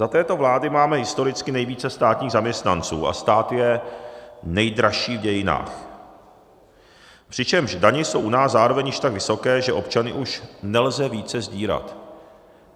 Za této vlády máme historicky nejvíce státních zaměstnanců a stát je nejdražší v dějinách, přičemž daně jsou u nás zároveň již tak vysoké, že občany už nelze více sdírat.